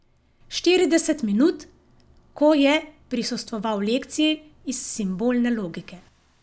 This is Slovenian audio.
Štirideset minut, ko je prisostvoval lekciji iz simbolne logike.